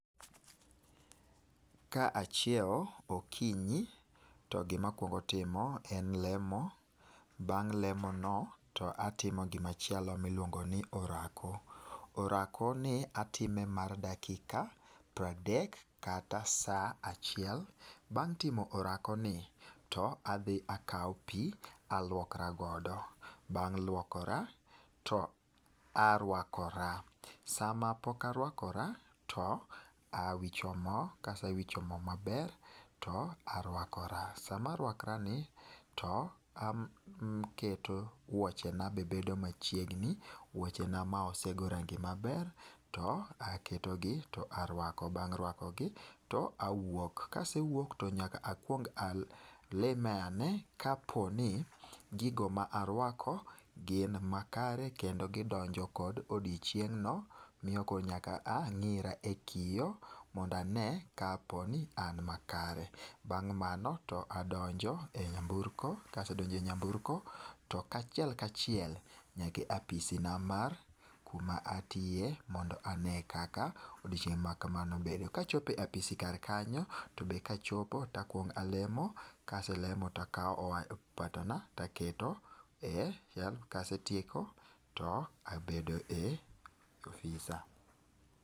kaachiewo okinyo toi gi ma akuongo timo en lemo, bang' lemo no to atimo gi macheilo miiluongo ni orako ,orako ni atime mar dakika piero adek kata sa achiel .Bang timo orako ni to adhi akawo pi to aluokora godo, bang' luokora to aruakora sa ma pok aruakora to awicho mo ka asewincho moo ma ber to aruakora. Sa ma aruakora ni to aketo wuoche na bedo machiegni ,wuoche na ma ne asegoyo rangi maber to aketo gi to aruako bang' ruakogi to awuok ka asewuok to nyaka akuong alime ne ka po ni gi go ma aruako gin makare kendo gi donjo kod odiechineg no miyo koro nyaka ang'ira e kio mondo ane ka po ni an makare. Bang' mano to adonjo e nyamburko, ka asedonjo e nyamburko to kaachiel kaachiel nyaka e apisi na ku ma atiye mondo ane kaka odiechineg kamano bedo. Ka achopo e apisi kanyo to be ka achopo to akuongo alemo ka aselomo to akowo opatona to aketo e ka asetieko to abedo e apisa.